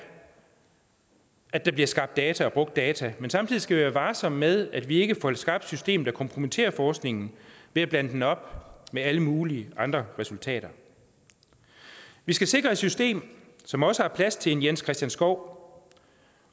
at der bliver skabt data og brugt data men samtidig skal vi være varsomme med at vi ikke få skabt et system der kompromitterer forskningen ved at blande den op med alle mulige andre resultater vi skal sikre et system som også har plads til en jens christian skov